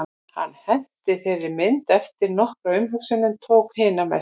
Hann henti þeirri mynd eftir nokkra umhugsun en tók hina með sér.